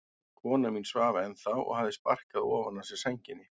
Kona mín svaf ennþá og hafði sparkað ofan af sér sænginni.